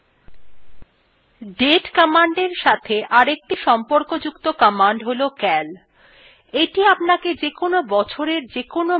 date commandএর সাথে অপর একটি সম্পর্কযুক্ত command calcal command এইটি আপনাকে যেকোন বছরের যেকোন মাসএর calender দেখতে সাহায্য করে